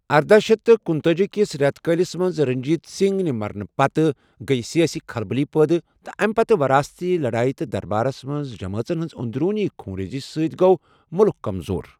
ارداہ شیتھ تہٕ کنُتأجی کِس رٮ۪تہٕ کٲلِس منٛز رٔنٛجیٖت سِنٛگھ نہِ مرنہٕ پتہٕ گٔیہِ سِیٲسی کھلبٔلی پٲدٕ، تہٕ اَمہِ پتہٕ وَراثتی لڈایہ تہٕ دربارس منز جمٲژن ہنز اندروُنی خون ریز سۭتۍ گوٚو مُلك كمزور ۔